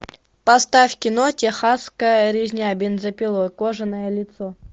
поставь кино техасская резня бензопилой кожаное лицо